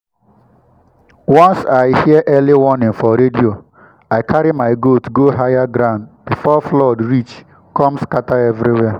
once i hear early warning for radio i carry my goat go higher ground before flood reach come scatter everywhere.